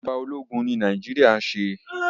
ìjọba ológun ni Nàìjíríà ṣe.